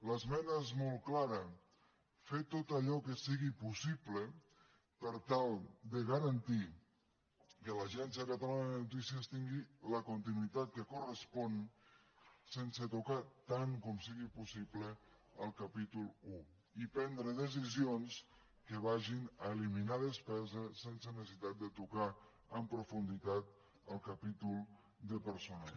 l’esmena és molt clara fer tot allò que sigui possible per tal de garantir que l’agència catalana de notícies tingui la continuïtat que correspon sense tocar tant com sigui possible el capítol un i prendre decisions que vagin a eliminar despesa sense necessitat de tocar en profunditat el capítol de personal